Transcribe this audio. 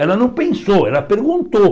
Ela não pensou, ela perguntou.